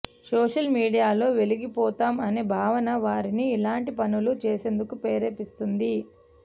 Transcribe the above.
social మీడియాలో వెలిగిపోతాం అనే భావన వారిని ఇలాంటి పనులు చేసేందుకు ప్రేరేపిస్తోంది